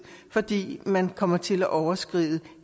fordi man kommer til at overskride